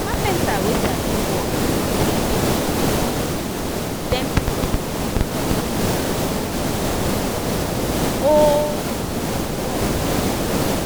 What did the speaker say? carpenta wey sabi work been say make dem comot um ten percent from the um um whole um work